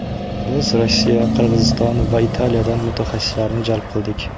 Biz Rossiya, Qirg‘izston va Italiyadan mutaxassislarni jalb qildik.